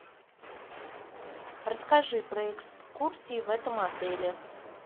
расскажи про экскурсии в этом отеле